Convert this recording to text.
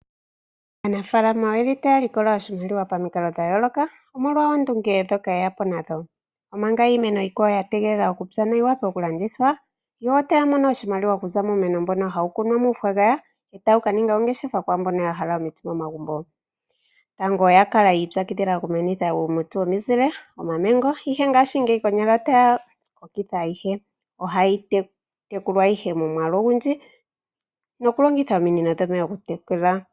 Aanafaalama oye li taya likola oshimaliwa pamikalo dhayooloka, omolwa oondunge dhoka yeya po nadho. Omanga iimeno iikwawo ya tegelela okupya noyi wape okulandithwa yo otaya mono oshimaliwa okuza muumeno mbono hawu kunwa muufagafaga etawu ka ninga ongeshefa kwaambono ya hala omiti momagumbo. Tango oya kala yiipyakidhila okumenitha uuti womizile, omamengo, ihe ngaashi ngeyi konyala otaya kokitha aiyihe. Ohayi tekulwa ihe momwaalu ogundji nokulongitha ominino dhomeya okutekela.